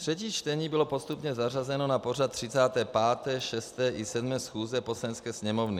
Třetí čtení bylo postupně zařazeno na pořad 35., 36., i 37. schůze Poslanecké sněmovny.